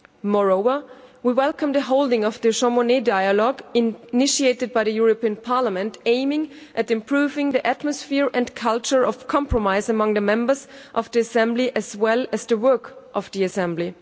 Moreover, we welcome the holding of the Jean Monnet Dialogue, initiated by the European Parliament, aimed at improving the atmosphere and culture of compromise among the members of the Assembly as well as the work of the Assembly.